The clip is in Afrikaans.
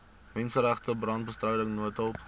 menseregte brandbestryding noodhulp